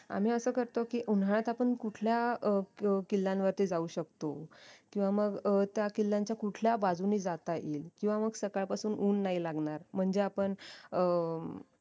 आम्ही असं करतो की उन्हाळ्यात आपण कुठल्या अं किल्ल्यांवरती जाऊ शकतो किंवा मग त्या किल्ल्यांच्या कुठल्या बाजूने जात येईल किंवा मग सकाळ पासून ऊन नाही लागणार म्हणजे आपण अं